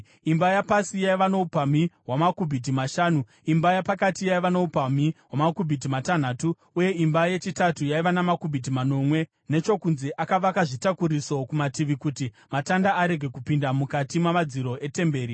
Imba yapasi yaiva noupamhi hwamakubhiti mashanu , imba yapakati yaiva noupamhi hwamakubhiti matanhatu uye imba yechitatu yaiva namakubhiti manomwe . Nechokunze akavaka zvitakuriso kumativi kuti matanda arege kupinda mukati mamadziro etemberi.